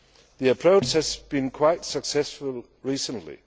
This approach has been quite successful recently.